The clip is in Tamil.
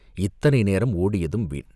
இத்தனை நேரம் ஓடியதும் வீண்!